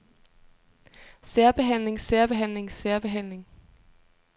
særbehandling særbehandling særbehandling